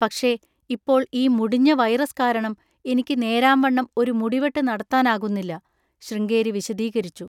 പക്ഷെ ഇപ്പോൾ ഈ മുടിഞ്ഞ വൈറസ് കാരണം, എനിക്ക് നേരാംവണ്ണം ഒരു മുടിവെട്ട് നടത്താനാകുന്നില്ല. ശൃംഗേരി വിശദീകരിച്ചു.